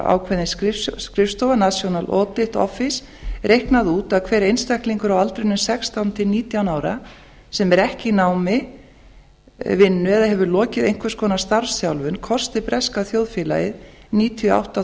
ákveðin skrifstofa national oft office reiknað út að hver einstaklingur á aldrinum sextán til nítján ára sem er ekki í námi vinnu eða hefur lokið einhvers konar starfsþjálfun kosti breska þjóðfélagið níutíu og átta